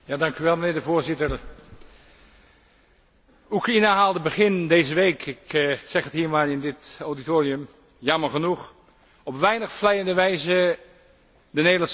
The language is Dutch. Voorzitter, Oekraïne haalde begin deze week ik zeg het hier maar in dit auditorium jammer genoeg op weinig vleiende wijze de Nederlandse pers.